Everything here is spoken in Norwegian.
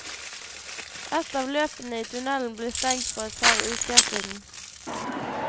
Ett av løpene i tunnelen ble stengt for et par uker siden.